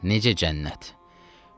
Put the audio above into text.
Necə cənnət.